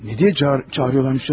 Niyə çağırırdılar səni?